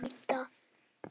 Verðum að leita.